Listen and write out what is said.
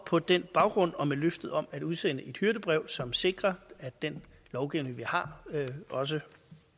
på den baggrund og med løftet om at udsende et hyrdebrev som sikrer at den lovgivning vi har også